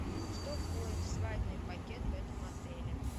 что входит в свадебный пакет в этом отеле